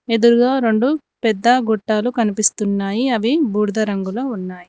ఎదురుగా రెండు పెద్ద గొట్టాలు కనిపిస్తున్నాయి అవి బూడిద రంగులో ఉన్నాయి.